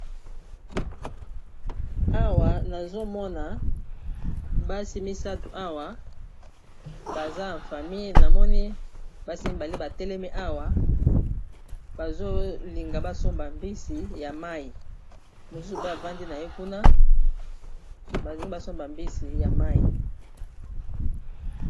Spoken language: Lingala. Awa nazomona basi misato awa baza ya famille, namoni basimbani, batelemi awa bazolinga basomba mbisi ya mayi mosusu pe avandi na ye kuna balingi basomba mbisi ya mayi.